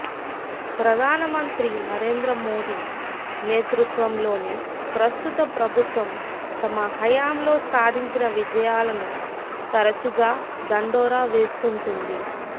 ప్రధానమంత్రి నరేంద్ర మోడీ నేతృత్వంలోని ప్రస్తుత ప్రభుత్వం తమ హయాంలో సాధించిన విజయాలను తరచుగా దండోరా వేస్తుంటుంది